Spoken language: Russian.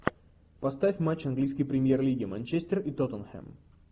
поставь матч английской премьер лиги манчестер и тоттенхэм